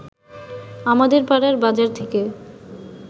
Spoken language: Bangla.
আমাদের পাড়ার বাজার থেকে